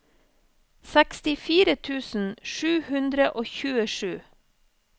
sekstifire tusen sju hundre og tjuesju